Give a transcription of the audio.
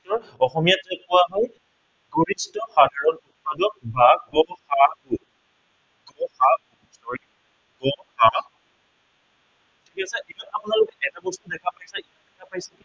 কি হয়, অসমীয়াত কি বুলি কোৱা হয়, গৰিষ্ঠ সাধাৰণ গুনিতক, গ সা গু গ সা গু ঠিক আছে কিন্তু আপোনালোকে এটা বস্তু দেখা পাইছে, কি দেখা পাইছে